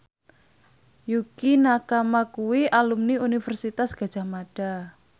Yukie Nakama kuwi alumni Universitas Gadjah Mada